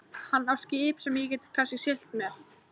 Hann á skip sem ég get kannski siglt með.